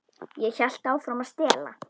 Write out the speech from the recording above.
Ég hélt áfram að stela.